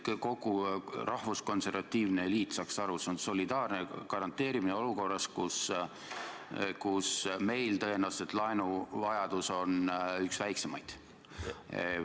Et kogu rahvuskonservatiivne eliit saaks aru: see on solidaarne garanteerimine olukorras, kus tõenäoliselt meie laenuvajadus on üks väiksemaid.